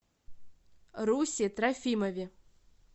русе трофимове